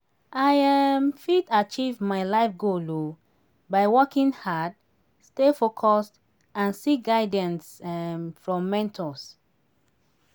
i um fit achieve my life goal um by working hard stay focused and seek guidance um from mentors.